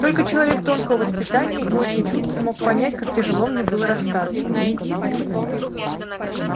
только человек тонкого воспитания и очень чуткий мог понять как тяжело мне было расстаться